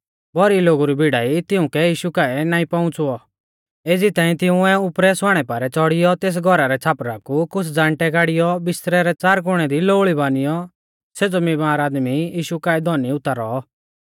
भौरी लोगु री भीड़ा ई तिउंकै यीशु काऐ नाईं पउंच़ुऔ एज़ी ताईं तिंउऐ उपरै स्वाणै पारै च़ौड़ियौ तेस घौरा रै छ़ापरा कु कुछ़ ज़ाण्दै गाड़ियौ बिस्तरै रै च़ार कुणै दी लोऊल़ी बानियौ सेज़ौ बीमार आदमी यीशु काऐ धौनी उतारौ